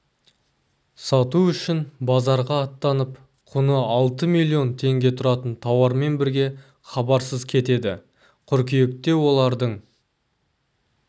сату үшін базарға аттанып құны алты миллион теңге тұратын тауарымен бірге хабарсыз кетеді кыркүйекте олардың